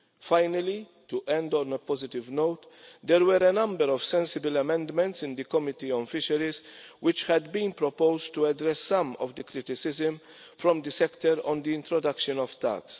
Finally, to end on a positive note, there were a number of sensible amendments in the Committee on Fisheries which had been proposed to address some of the criticisms from the sector on the introduction of tax.